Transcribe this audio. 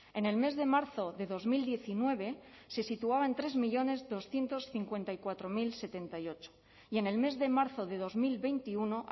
en el mes de marzo de dos mil diecinueve se situaba en tres millónes doscientos cincuenta y cuatro mil setenta y ocho y en el mes de marzo de dos mil veintiuno